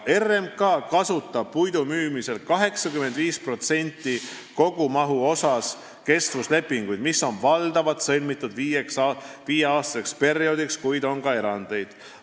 RMK kasutab puidu müümisel 85% kogumahu ulatuses kestvuslepinguid, mis on valdavalt sõlmitud viieaastaseks perioodiks, kuid on ka erandeid.